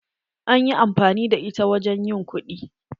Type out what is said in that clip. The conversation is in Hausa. An yi amfani da ita wajen ƴin kuɗi.